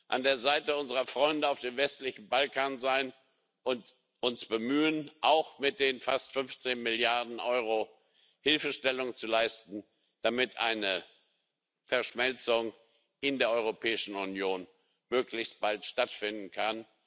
an der Seite unserer Freunde auf dem westlichen Balkan sein und sich bemühen, auch mit den fast 15 Milliarden Euro Hilfestellung zu leisten, damit eine Verschmelzung in der Europäischen Union möglichst bald stattfinden kann.